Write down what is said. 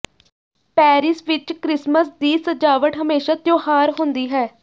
Paris ਵਿਚ Christmas ਦੀ ਸਜਾਵਟ ਹਮੇਸ਼ਾ ਤਿਉਹਾਰ ਹੁੰਦੀ ਹੈ